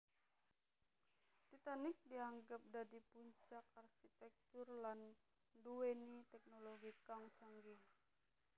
Titanic dianggep dadi puncak arsitèktur lan nduwèni tèknologi kang canggih